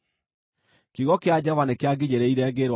Kiugo kĩa Jehova nĩkĩanginyĩrĩire, ngĩĩrwo atĩrĩ: